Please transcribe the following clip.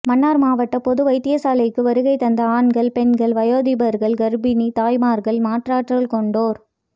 மன்னார் மாவட்ட பொது வைத்தியசாலைக்கு வருகை தந்த ஆண்கள்இபெண்கள்இவயோதிபர்கள்இகர்ப்பிணி தாய்மார்கள்இ மாற்றாற்றல் கொண்டோர்